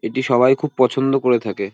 এটি সবাই খুব পছন্দ করে থাকে।